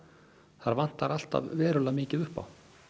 það vantar alltaf verulega mikið upp á